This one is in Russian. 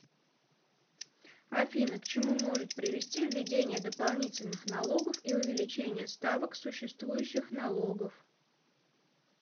афина к чему может привести введение дополнительных налогов и увеличение ставок существующих налогов